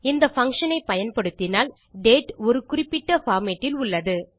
இந்த பங்ஷன் ஐ பயன்படுத்தினால் டேட் ஒரு குறிப்பிட்ட formatஇல் உள்ளது